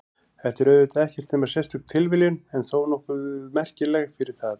Þetta er auðvitað ekkert nema sérstök tilviljun en þó nokkuð merkileg fyrir það.